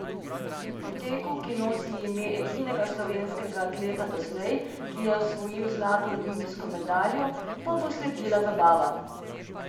Po teku, ki nosi ime edinega slovenskega atleta doslej, ki je osvojil zlato olimpijsko medaljo, pa bo sledila zabava.